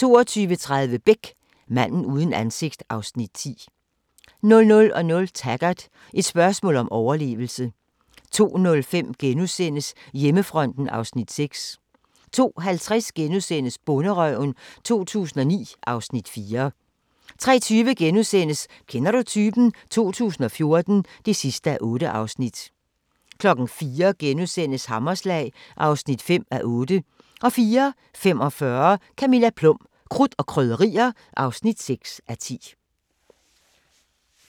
22:30: Beck: Manden uden ansigt (Afs. 10) 00:00: Taggart: Et spørgsmål om overlevelse 02:05: Hjemmefronten (Afs. 6)* 02:50: Bonderøven 2009 (Afs. 4)* 03:20: Kender du typen? 2014 (8:8)* 04:00: Hammerslag (5:8)* 04:45: Camilla Plum - krudt og krydderier (6:10)